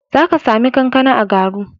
Za ka sami kankana a Garu.